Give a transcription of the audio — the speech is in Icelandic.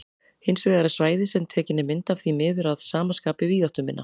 Hins vegar er svæðið sem tekin er mynd af því miður að sama skapi víðáttuminna.